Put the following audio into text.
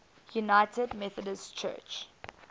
united methodist church